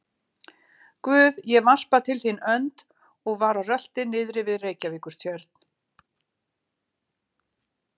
Guð, ég varpa til þín önd, og var á rölti niðri við Reykjavíkurtjörn.